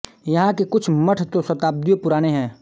यहां के कुछ मठ तो शताब्दियों पुराने हैं